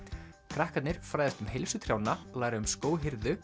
krakkarnir fræðast um heilsu trjánna læra um